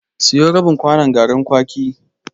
Siyo rabin kwanon garin kwaki.